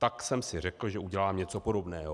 Tak jsem si řekl, že udělám něco podobného."